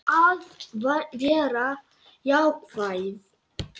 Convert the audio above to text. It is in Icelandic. Að vera jákvæð.